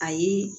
Ayi